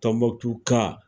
ka